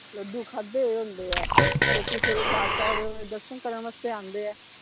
ਲੱਡੂ ਖਾਂਦੇ ਹੋਏ ਹੁੰਦੇ ਆ, ਲੋਕੀ ਸਵੇਰੇ ਚਾਰ ਚਾਰ ਵਜੇ ਓਹਨਾ ਦੇ ਦਰਸ਼ਨ ਕਰਨ ਵਾਸਤੇ ਆਉਂਦੇ ਆ।